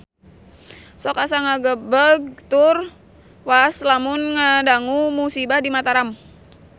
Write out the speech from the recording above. Sok asa ngagebeg tur waas lamun ngadangu musibah di Mataram